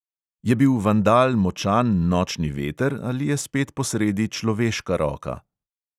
Je bil vandal močan nočni veter ali je spet posredi človeška roka?